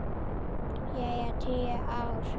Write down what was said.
Jæja, tíu ár.